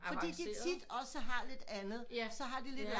Fordi de også tit også har lidt andet så har de lidt